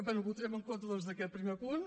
bé votarem en contra doncs d’aquest primer punt